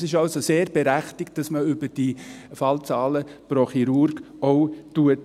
Es ist also sehr berechtigt, dass man auch über diese Fallzahlen pro Chirurg spricht.